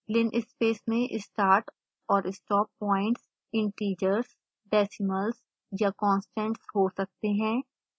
linspace में start और stop points integers decimals या constants हो सकते हैं